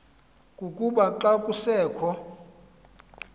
kukuba xa kusekho